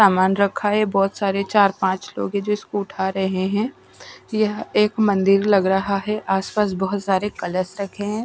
सामान रखा है बहुत सारे चार पांच लोग हैं जो इसको उठा रहे हैं यह एक मंदिर लग रहा है आसपास बहुत सारे कलश रखे हैं।